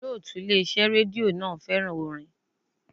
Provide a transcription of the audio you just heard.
Olótùú Ilé iṣẹ́ rédíò náà fẹ́ràn orin.